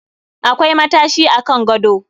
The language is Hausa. Akwai matashi a Kan gado